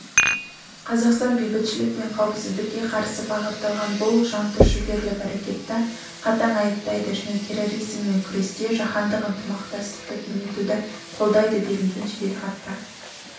қазақстан бейбітшілік пен қауіпсіздікке қарсы бағытталған бұл жантүршігерлік әрекетті қатаң айыптайды және терроризммен күресте жаһандық ынтымақтастықты кеңейтуді қолдайды делінген жеделхатта